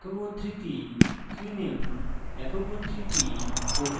একক উদ্ধৃতি keyname একক উদ্ধৃতি